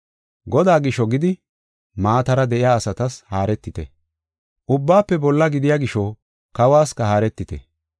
Godaa gisho gidi maatara de7iya asatas haaretite; ubbaafe bolla gidiya gisho kawuwasika haaretite.